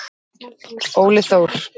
Óli Þór.